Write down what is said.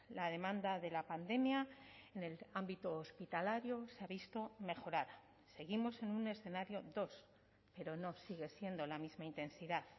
la demanda de la pandemia en el ámbito hospitalario se ha visto mejorada seguimos en un escenario dos pero no sigue siendo la misma intensidad